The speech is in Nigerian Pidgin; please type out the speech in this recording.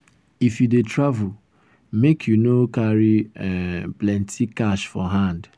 if you dey travel make you no carry um plenty cash for hand.